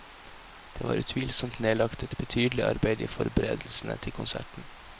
Det var utvilsomt nedlagt et betydelig arbeid i forberedelsene til konserten.